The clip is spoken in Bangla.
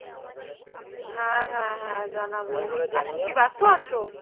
হ্যাঁ হ্যাঁ হ্যাঁ জানাবো এখন কি ব্যস্ত আছো?